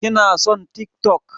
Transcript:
Kina son TikTok.